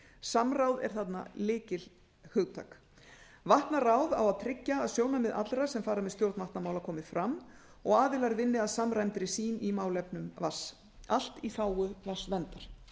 samráð er þarna lykilhugtak vatnaráð á að tryggja að sjónarmið allra sem fara með stjórn vatnamála komi fram og aðilar vinni að samræmdri sýn í málefnum vatns allt í þágu vatnsverndar